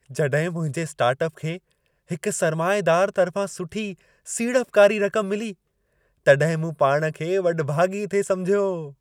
जॾहिं मुंहिंजे स्टार्टअप खे हिक सरमाएदार तर्फ़ां सुठी सीड़पकारी रक़म मिली, तॾहिं मूं पाण खे वॾभागी थे समुझियो।